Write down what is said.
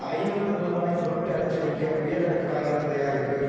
ஐநூறு ரூபாய் நோட்டு அச்சடிக்க உயர் ரக காகிதம் தயாரிப்பு